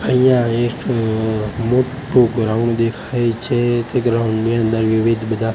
અહીંયા એક અ મોટ્ટુ ગ્રાઉન્ડ દેખાય છે તે ગ્રાઉન્ડ ની અંદર વિવિધ બધા--